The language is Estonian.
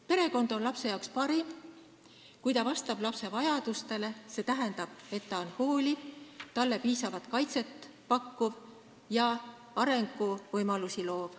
Perekond on lapsele parim, kui ta vastab lapse vajadustele, st on hooliv, pakub lapsele piisavalt kaitset ja loob arenguvõimalusi.